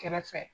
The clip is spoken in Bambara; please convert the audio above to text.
Kɛrɛfɛ